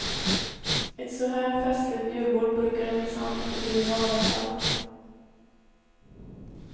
Ett såhär festligt julbord brukade det minsann inte bli i vanliga fall.